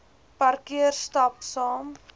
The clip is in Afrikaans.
parkeer stap saam